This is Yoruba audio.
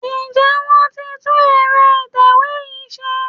Ǹjẹ́ wọ́n ti tún ẹ̀rọ ìtẹ̀wé yín ṣe?